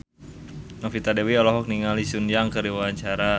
Novita Dewi olohok ningali Sun Yang keur diwawancara